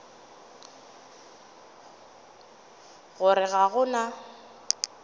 go re ga go na